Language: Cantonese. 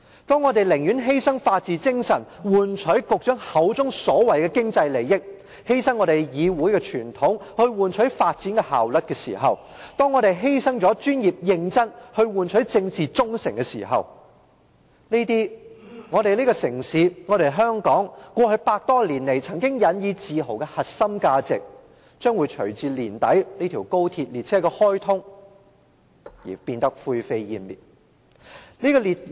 當我們寧願犧牲法治精神去換取局長口中所謂的"經濟利益"、犧牲議會的傳統去換取發展效率、犧牲專業認真去換取政治忠誠時，這些我們這個城市、香港過去百多年來曾經引以自豪的核心價值，將會隨着年底高鐵列車的開通而灰飛煙滅。